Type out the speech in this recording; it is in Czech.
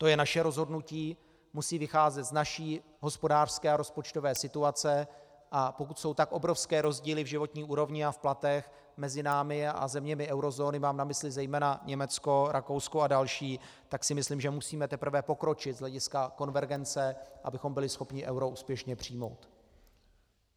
To je naše rozhodnutí, musí vycházet z naší hospodářské a rozpočtové situace, a pokud jsou tak obrovské rozdíly v životní úrovni a v platech mezi námi a zeměmi eurozóny, mám na mysli zejména Německo, Rakousko a další, tak si myslím, že musíme teprve pokročit z hlediska konvergence, abychom byli schopni euro úspěšně přijmout.